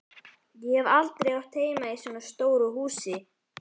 Ég hef aldrei átt heima í svona stóru húsi.